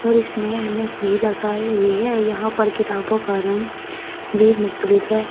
और इसनें ऐनक भी लगाई हुई है यहां पर किताबों का रंग भी भी मुक्तलिफ़ है।